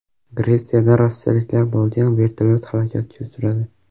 Gretsiyada rossiyaliklar bo‘lgan vertolyot halokatga uchradi.